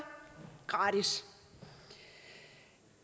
gratis